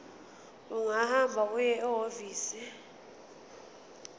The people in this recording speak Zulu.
ungahamba uye ehhovisi